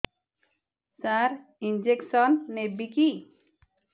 ସାର injection ନେବିକି